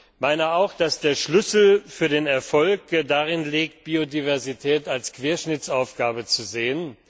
Ich meine auch, dass der Schlüssel für den Erfolg darin liegt, Biodiversität als Querschnittsaufgabe zu sehen.